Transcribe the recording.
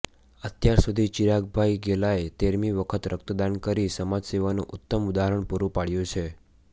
અત્યાર સુધી ચિરાગભાઇ ગેલાએ તેરમી વખત રક્તદાન કરી સમાજ સેવાનું ઉત્તમ ઉદાહરણ પુરૂ પાડ્યું છે